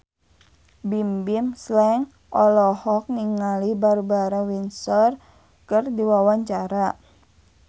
Bimbim Slank olohok ningali Barbara Windsor keur diwawancara